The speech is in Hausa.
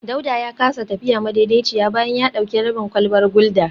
Dauda ya kasa tafiya madaidaiciya bayan ya dauki rabin kwalbar gulda